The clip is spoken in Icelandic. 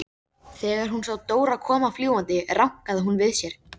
Þegar hún sá Dóra koma fljúgandi rankaði hún við sér.